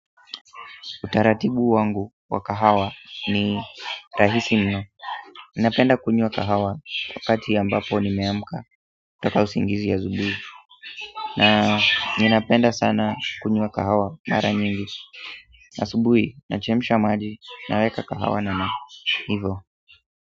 Utaratibu wangu wa kahawa ni rahisi mno. Ninapenda kunywa kahawa wakati ambapo nimeamka kutoka usingizi asubuhi. Na ninapenda sana kunywa kahawa mara nyingi. Asubuhi, nachemsha maji naweka kahawa namna. Hivo.